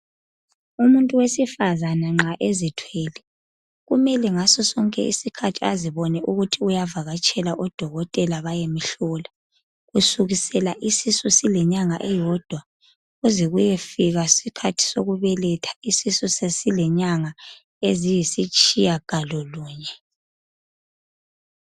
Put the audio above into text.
Umuntu wesifazana nxa ezithwele kumele ngaso sonke isikhathi azibone ukuthi uyavakatshela odokotela bayemhlola kusukisela isisu silenyanga eyodwa kuze kuyefika isikhathi sokubeletha isisu sesilenyanga eziyisitshiya galolunye.